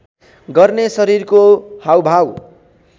गर्ने शरीरको हाउभाउ